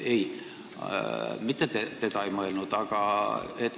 Ei, mitte teda.